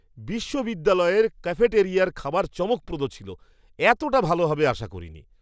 বিশ্ববিদ্যালয়ের ক্যাফেটারিয়ার খাবার চমকপ্রদ ছিল। এতটা ভালো হবে আশা করিনি।